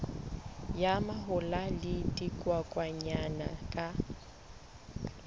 ya mahola le dikokwanyana ka